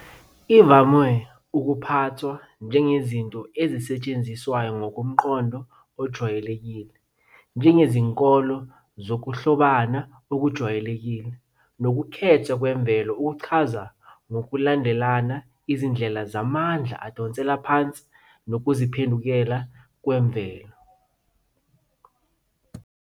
ivame ukuphathwa njengezinto ezisetshenziswayo ngomqondo ojwayelekile, njengezinkolelo zokuhlobana okujwayelekile nokukhethwa kwemvelo ukuchaza ngokulandelana izindlela zamandla adonsela phansi nokuziphendukela kwemvelo.